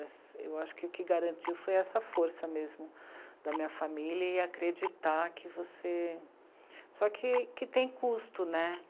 Eu acho que o que garantiu foi essa força mesmo da minha família e acreditar que você... Só que que tem custo, né?